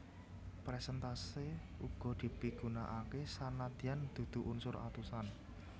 Persèntase uga dipigunakaké senadyan dudu unsur atusan